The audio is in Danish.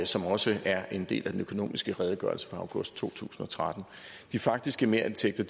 som også er en del af den økonomiske redegørelse fra august to tusind og tretten de faktiske merindtægter